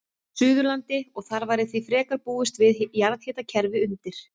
Suðurlandi, og þar væri því frekar að búast við jarðhitakerfi undir.